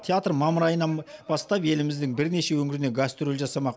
театр мамыр айынан бастап еліміздің бірнеше өңіріне гастроль жасамақ